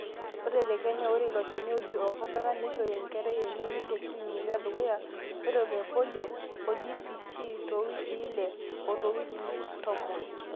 ore tekenya ore iloshani oji orkodata neishori enkerai eneini teclinic edukuya, ore ilo le polio o DPT toowikii ile o toowikii tomon